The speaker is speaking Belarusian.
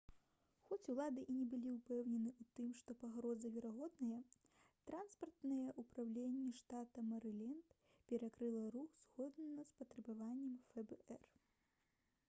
хоць улады і не былі ўпэўнены ў тым што пагроза верагодная транспартнае ўпраўленне штата мэрыленд перакрыла рух згодна з патрабаваннем фбр